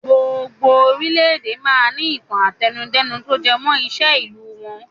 Gbogbo orílédé máa ń ní ìtàn àtẹnudẹ́nu to jẹ mọ́ ìṣe ìlú wọn.